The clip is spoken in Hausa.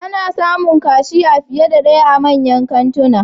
Ana samun kashiya fiye da daya a manyan kantuna